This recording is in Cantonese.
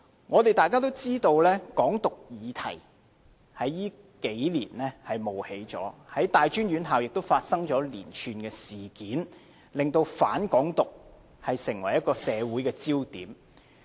我們大家也知道，"港獨"議題在這數年間冒起，在大專院校也發生了連串的事件，令"反港獨"成為社會焦點。